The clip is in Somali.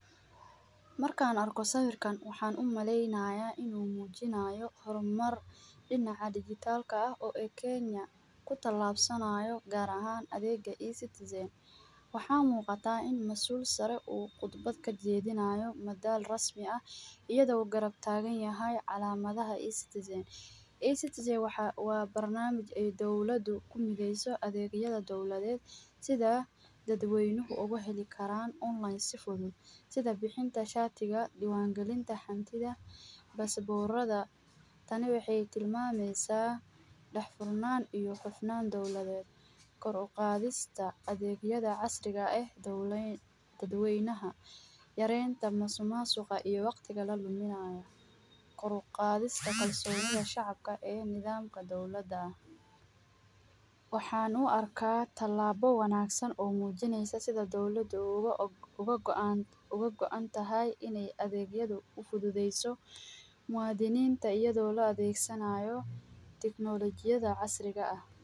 Markaan arko sawirkaan waxaan u maleynayaa inuu muujinaayo horumar dhinaca digital ka ah oo ee kenya ,ku tallabsanaayo gaar ahaan adeega e-citizen ,waxaa muqataa in masuul sare uu khudbad ka jeedinaayo madaal rasmi ah iyado uu garab taagan yahay calaamadaha e-citizen ,e-citizen waxaa ,waa barnaamij ay dowladu ku mideeyso adeegyada dowladeed ,sida dad weynuhu ugu heli karaa online si fudud ,sida bixinta shaatiga ,diiwaan galinta hantida ,basaboorada ,tani waxeey tilmameysaa dhax furnaan iyo hufnaan dowladeed ,kor u qaadista adeeg yada casriga eh dowleyn..dad weynaha ,yareynta masumaasuqa iyo waqtiga laluminaayo ,kor u qaadista kalsoonida shacabka ee nidaamka dowlada ,waxaan u arkaa tallaabo wanaagsan oo muujineysa sida dowlada uga, uga goantahay ineey adeegyadu u fududeyso muwadiniinta iyadoo la adeeg sanaayo tiknolojiyada casriga ah.